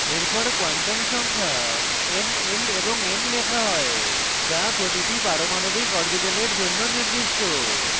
এরপর quantum সংখ্যা n l এবং m লেখা হয় যা প্রতিটি পারমাণবিক orbital জন্য নির্দিষ্ট